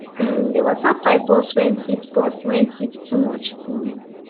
um the water pipe burst when heat burst when heat too much um